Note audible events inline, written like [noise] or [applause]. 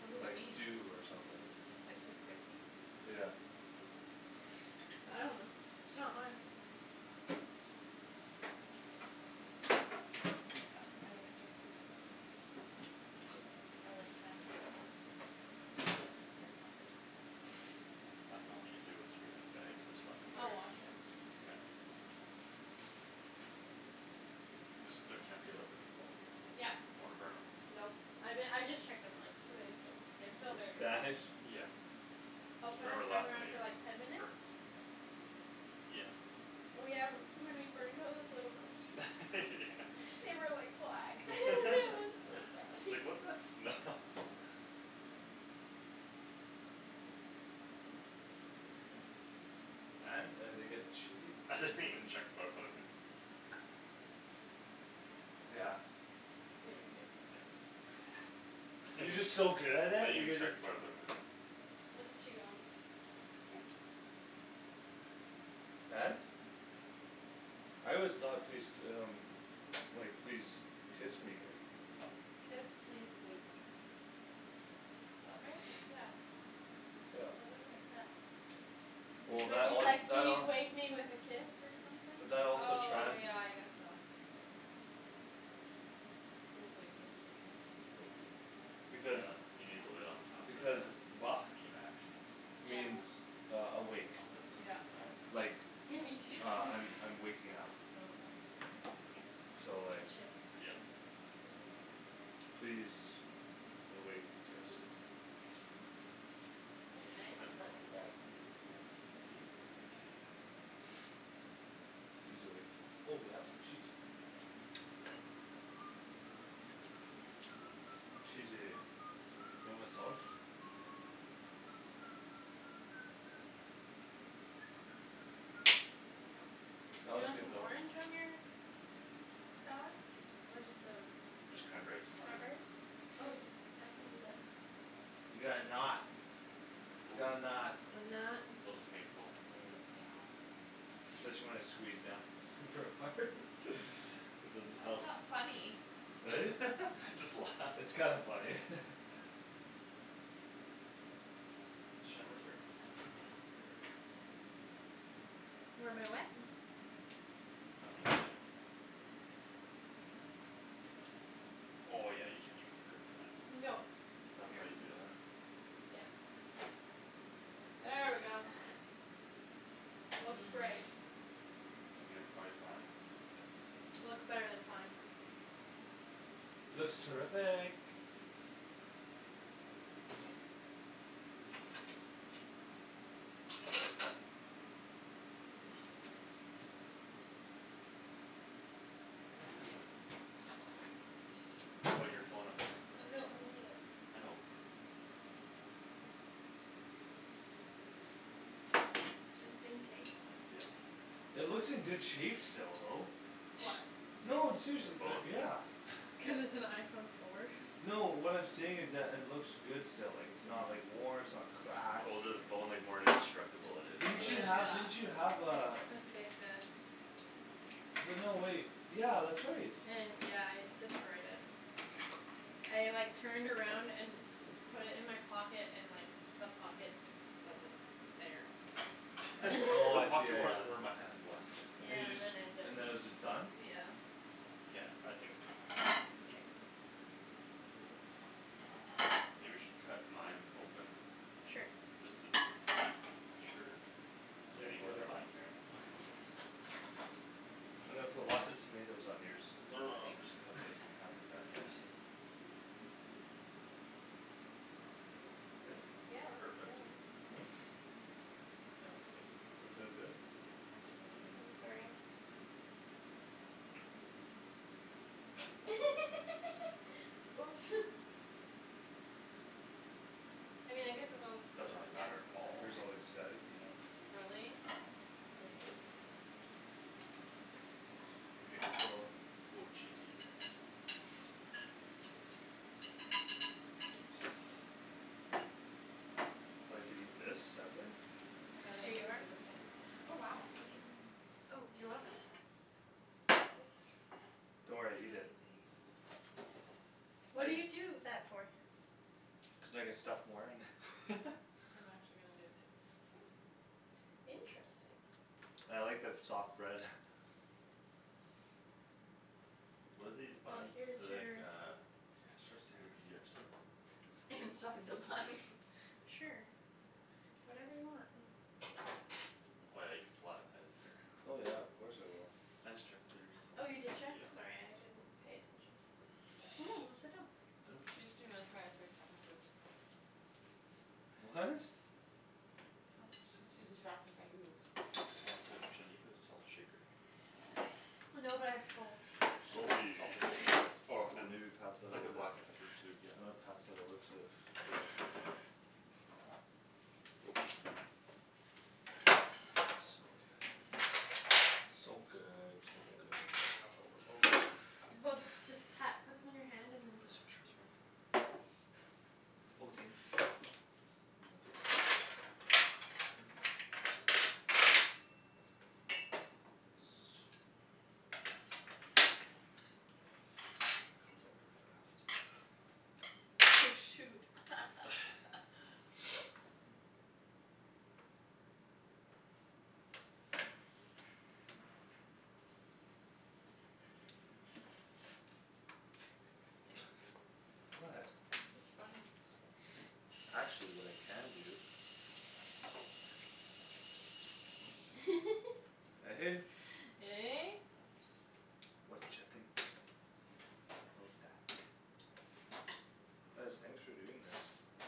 What does it Like mean? dew or something. Like, please kiss me? Yeah. I dunno, it's not mine. [noise] I think it says please kiss me. Or like, can I have a kiss? Or something like that. [noise] I didn't know what you I dunno. do with your bags. I just left it I'll there. wash it. Okay. Just the, can't be without the meatballs. Yup. Don't wanna burn 'em. Nope, I be- I just checked them, like, two minutes ago. They're still very raw. Spanish? Yeah. I'll put a Remember last timer time on for, like, ten it minutes? burnt. Yeah. Oh, yeah, m- when we burned those little cookies [laughs] Yeah. They were like black; [laughs] it was [laughs] [inaudible] so sad. It's like, "What's that smell?" [laughs] And? Are they getting cheated? I didn't even check before I put it in. Yeah. Yeah, you're good. [laughs] I You're didn't just so good at it, you even could, check like before I put 'em in. Look at you go. Oops. And? I always thought please d- um Like, "Please kiss me." Kiss, please, wake. Did spell it right? Yeah. Yeah. That doesn't make sense. Well, It Maybe that would say it's all, like, that "Please all wake me with a kiss" or But something? that also Oh, trans- yeah, I guess so. Like, please wake me with a kiss? Because Yeah, you need the lid on top That makes sense. for Because that steam action. [noise] Yeah. means uh awake I hope it's cooked Yeah. inside. Like, Yeah, me too. [laughs] uh I'm, I'm waking up. Okay. Oops. So It like should be fine. Yep. [inaudible] Please awake kiss Guess it's good. That'd be nice. [noise] Huh? I love you. Imperfect. Please awake kiss. Oh we got some cheese here. Cheesy. You want my sauce? That You was want good some though. orange on your salad? Or just the, just Just cranberries is fine. cranberries? Oh, I can do that. We got a knot. We got a [noise] knot. A I'm not knot. Wasn't painful. [noise] Yeah. Said she wanted to squeeze down. Super hard? [laughs] It [laughs] doesn't Why help. is that funny? Eh? [laughs] Just It's laughs. kinda funny. [laughs] Where my what? I've been hit. Oh, yeah, you can even girth that. No, That's here, why you do that. yeah. There we go. Looks great. [noise] I think that's prolly fine. Looks better than fine. Looks terrific. Put your phone up top there. No, I need it. I know. Just in case. Yeah. [noise] It looks in good shape still though. What? No, I'm seriously, The they're, phone? yeah. [laughs] Cuz it's an iPhone four. No, what I'm saying is that it looks good still, like, it's not, like, [noise] worn, it's not cracked The older the phone, like, more indestructible it Didn't is. you have, Yeah. [laughs] didn't Yeah. you have uh A Six S. But no, wait, [noise] yeah, that's right. [noise] Yeah, I destroyed it. I, like, turned around and put it in my pocket and, like, the pocket wasn't there. I, [laughs] oh, The I [laughs] see, yeah, pocket yeah. wasn't where my hand was. And you Yeah, and just, then it just, and then it was just done? yeah. Yeah, I think K. K. [noise] Maybe we should cut mine open. Sure. Just to be s- sure. [noise] You got Anywhere, your like, I bun? don't care. I'm gonna put lots of tomatoes on yours. No, no, no, we'll just Thanks. cut it, like, in half [laughs] like I that, yeah. appreciate it. That feels Good? so good. Yeah, looks great. Perfect. [noise] Yeah, that looks good to me. That feel good? Yeah, it feels really I'm good. sorry. [laughs] Oops. [noise] I mean I guess it's on, Doesn't really yeah. matter at Your all. hair's all like [noise] staticy now. Really? Great. Beautiful. Oh, cheesy. I like to eat this separate. And then Here I'm you gonna are. do the same. Oh wow, thank you. Oh, you're welcome [noise] Don't worry, [noise] He eat does it. it like What that. do you I Just ignore him. do that for? Cuz I can stuff more in. [laughs] [laughs] I'm actually gonna do it too. Interesting. I like the f- soft bread. What are these Well, buns? here's They're like your uh Starts with a B or something. Inside the bun. [laughs] Sure, whatever you want. Oh, yeah, you could flatten that in there. Oh yeah, of course I will. I just checked theirs so, Oh, you did check? yeah. Sorry, I didn't [noise] pay attention. [noise] Go [noise] sit down. [noise] She's too mesmerized by Thomas's. What? She's [noise] too distracted by you. Oh, snap, Shan, do you have a salt shaker? No, but I have salt. Salty. Salt containers or I Ooh, mean, maybe pass that like, a over. black pepper tube, You yeah. wanna pass that over to So good, so Oh, good. better not overload it. Well, just pat, put some in your hand and then [noise] True. sprinkle it. Oh, thanks. Put it on there. [noise] Here comes all the frost. Oh, shoot. [laughs] [laughs] [laughs] What? It's just funny. Actually, what I can do [laughs] Eh? Eh? Watcha think about that? Guys, thanks for doing this.